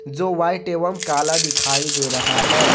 जो वाइट एवंम काला दिखाई दे रहा है।